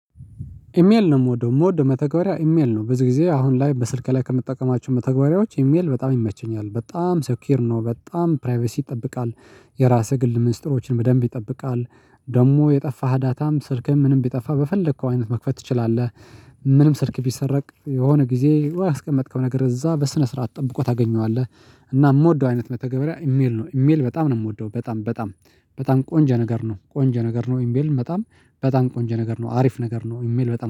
ኢሜል ነው የምወደው የምወደው መተግበሪያ ኢሜል ነው ብዙ ጊዜ አሁን ላይ በስልክ ላይ ከምጠቀማቸው መተግበሪያዎች ኢሜል በጣም ይመቸኛል በጣም ሰኪዉር ነው በጣም ፕራይቬሲ ይጠብቃል። የራስህ ግል ምስጢሮችን በደንብ ይጠብቃል። ደግሞ የጠፋህ ዳታም ስልክህም ምንም ቢጠፋ በፈለከው አይነት መክፈት ትችላለህ። ምንም ስልክ ቢሰረቅ የሆነ ጊዜ ያስቀመጥከው ነገር እዛ በስነ ስርዓት ጠብቆ ታገኘዋለህ። እና የምወደው አይነት መተገበሪያ ኢሜል ነው ኢሜል በጣም ነው የምወደው በጣም በጣም በጣም ቆንጀ ነገር ነው ቆንጀ ነገር ነው። ኢሜል በጣም በጣም ቆንጀ ነገር ነው አሪፍ ነገር ነው። ኢሜል በጣም